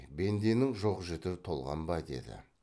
бенденің жоқ жіті толған ба деді